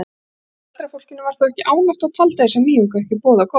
Sumt af eldra fólkinu var þó ekki ánægt og taldi þessa nýjung ekki boða gott.